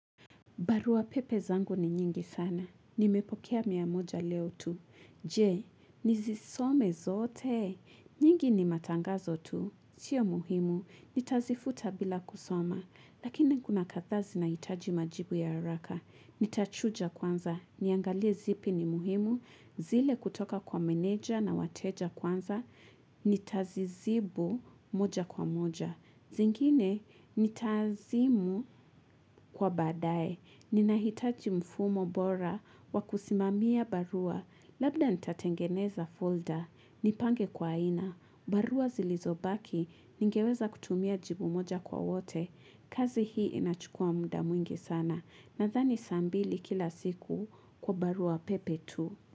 Barua pepe zangu ni nyingi sana. Nimepokea mia moja leo tu. Je, nizisome zote. Nyingi ni matangazo tu. Sio muhimu. Nitazifuta bila kusoma. Lakini kuna kadhaa zinahitaji majibu ya haraka. Nitachuja kwanza. Niangale zipi ni muhimu. Zile kutoka kwa meneja na wateja kwanza. Nitazizibu moja kwa moja. Zingine, nitaazimu kwa badae. Ninahitaji mfumo bora wa kusimamia barua Labda nitatengeneza folder, nipange kwa aina barua zilizobaki, ningeweza kutumia jibu moja kwa wote kazi hii inachukua muda mwingi sana Nadhani saa mbili kila siku kwa barua pepe tu.